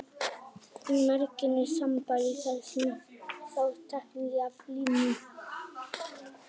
Merkingin er sambærileg og þar er sá saklausi tekinn af lífi.